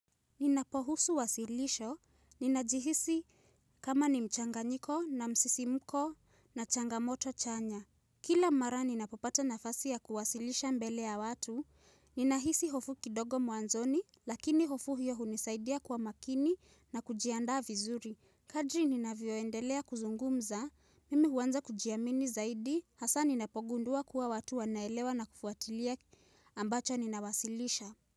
Ninapohusu wasilisho, ninajihisi kama ni mchanganyiko na msisimuko na changamoto chanya. Kila mara ninapopata nafasi ya kuwasilisha mbele ya watu, ninahisi hofu kidogo mwanzoni, lakini hofu hiyo hunisaidia kwa makini na kujiandaa vizuri. Kadri ninavyoendelea kuzungumza, mimi huanza kujiamini zaidi, hasa ninapogundua kuwa watu wanaelewa na kufuatilia ambacho ninawasilisha.